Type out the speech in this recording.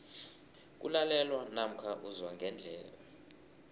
kulalelwa namkha uzwa ngendlebe